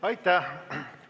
Aitäh!